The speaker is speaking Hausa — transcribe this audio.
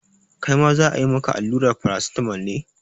Kai ma za a yi maka allura Paracetamol tamol ne?